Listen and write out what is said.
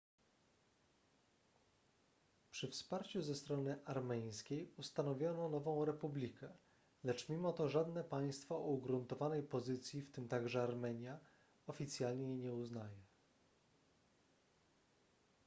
przy wsparciu ze strony armeńskiej ustanowiono nową republikę lecz mimo to żadne państwo o ugruntowanej pozycji w tym także armenia oficjalnie jej nie uznaje